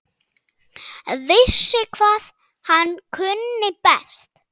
Vissi hvað hann kunni best.